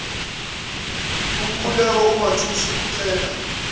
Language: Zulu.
umkhuleko umathusi ucela